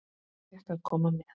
Ég fékk að koma með.